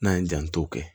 N'an ye janto kɛ